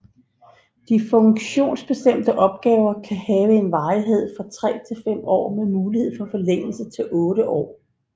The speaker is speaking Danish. De funktionsbestemte opgaver kan have en varighed på 3 til 5 år med mulighed for forlængelse til 8 år